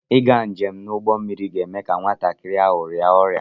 Ịga njem n'ụgbọ mmiri ga-eme ka nwatakịrị ahụ rịa ọrịa